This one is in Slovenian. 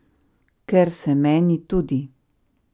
Ker se meni tudi.